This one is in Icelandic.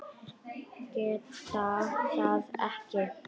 Geta það ekki.